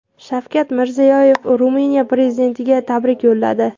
Shavkat Mirziyoyev Ruminiya prezidentiga tabrik yo‘lladi.